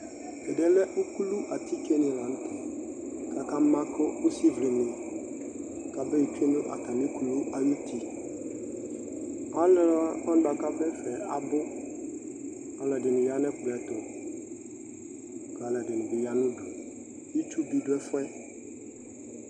tʋ ɛdiɛ lɛ ʋklɔ atikè lantɛ kʋ aka maka ʋsi vlini kʋ abɛ twɛnʋatami ʋsii, alʋwani bʋakʋ adʋ ɛƒɛ abʋ kʋ alʋɛdini yanʋ ɛkplɔɛ ɛtʋ kʋ alʋɛdini bi yanʋ ʋdʋ